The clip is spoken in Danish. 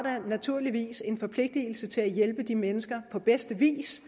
naturligvis en forpligtigelse til at hjælpe de mennesker på bedste vis